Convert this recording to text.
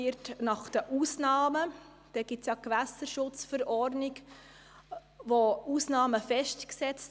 In der Gewässerschutzverordnung (GSchV) sind ja gewisse Ausnahmen festgelegt.